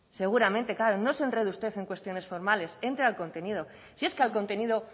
seguramente claro no se enrede usted en cuestiones formales entre al contenido si es que al contenido